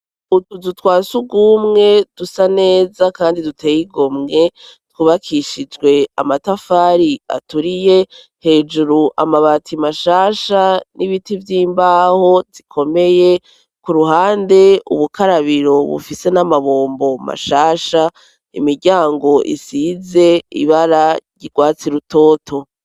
Utuzu twa si ugumwe dusa neza, kandi duteyigomwe twubakishijwe amatafari aturiye hejuru amabati mashasha n'ibiti vy'imbaho zikomeye ku ruhande ubukarabiro bufise n'amabombo mashasha imiryango isie ze ibara ryirwatsi rutoto.